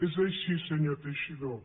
és així senyor teixidó